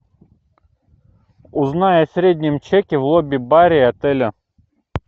узнай о среднем чеке в лобби баре отеля